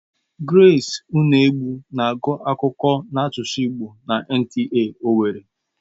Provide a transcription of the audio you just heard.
Gresị Unegbu na-agụ akụkọ n'asụsụ igbo na NTA owerri.